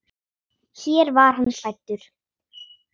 Hér var hann fæddur.